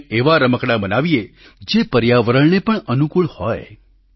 આપણે એવા રમકડાં બનાવીએ જે પર્યાવરણને પણ અનુકૂળ હોય